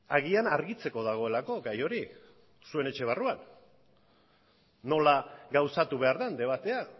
agian argitzeko dagoelako gai hori zuen etxe barruan nola gauzatu behar den debatea